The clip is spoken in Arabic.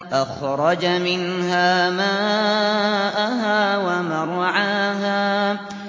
أَخْرَجَ مِنْهَا مَاءَهَا وَمَرْعَاهَا